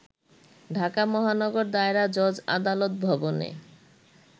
ঢাকা মহানগর দায়রা জজ আদালত ভবনে